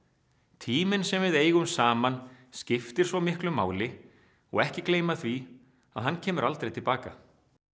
tíminn sem við eigum saman skiptir svo miklu máli og ekki gleyma því að hann kemur aldrei til baka